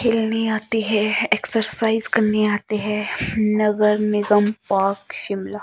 खेलने आते है एक्सरसाइज करने आते है नगर निगम पार्क शिमला।